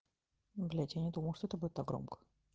блять я не думал что это будет так громко